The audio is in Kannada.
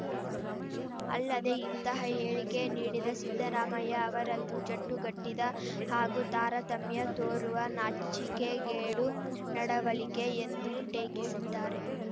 ಅಲ್ಲದೆ ಇಂತಹ ಹೇಳಿಕೆ ನೀಡಿದ ಸಿದ್ದರಾಮಯ್ಯ ಅವರದ್ದು ಜಡ್ಡುಗಟ್ಟಿದ ಹಾಗೂ ತಾರತಮ್ಯ ತೋರುವ ನಾಚಿಕೆಗೇಡು ನಡವಳಿಕೆ ಎಂದೂ ಟೇಕಿಸಿದ್ದಾರೆ